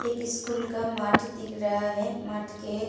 एक स्कूल का मठ दिख रहा है। मठ के --